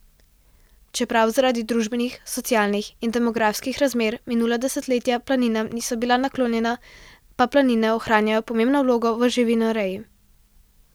Čeprav zaradi družbenih, socialnih in demografskih razmer minula desetletja planinam niso bila naklonjena, pa planine ohranjajo pomembno vlogo v živinoreji.